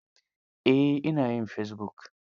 Eh, ina yin fesibuk.